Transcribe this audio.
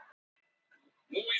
Það er sparkað.